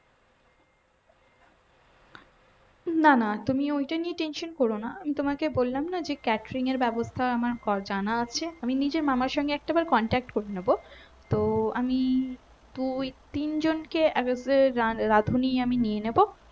না না তুমি ওইটা নিয়ে tension করো না আমি তোমাকে বললাম না যে catering এর ব্যবস্থা আমার ক্ জানা আছে আমি নিজে মামার সঙ্গে একটাবার contact করে নেব তো আমি দুই তিন জনকে রাধুনী আমি নিয়ে নেব